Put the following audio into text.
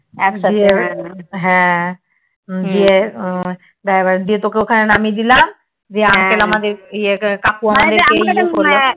হ্যাঁ গিয়ে তোকে ওখানে নামিয়ে দিলাম দিয়ে আমাকে কাকু